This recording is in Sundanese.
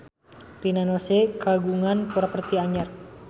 Rina Nose kagungan properti anyar